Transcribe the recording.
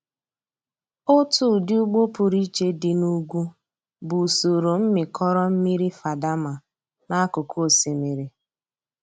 Otu ụdị ugbo pụrụ iche dị na ugwu bụ usoro mmịkọrọ mmiri Fadama n'akụkụ osimiri.